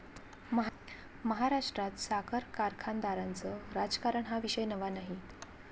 महाराष्ट्रात साखर कारखानदारांचं राजकारण हा विषय नवा नाही.